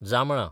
जामळां